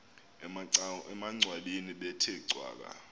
emangcwabeni bethe cwaka